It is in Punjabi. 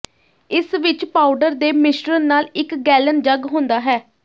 ਇਸ ਵਿਚ ਪਾਊਡਰ ਦੇ ਮਿਸ਼ਰਣ ਨਾਲ ਇਕ ਗੈਲਨ ਜੱਗ ਹੁੰਦਾ ਹੈ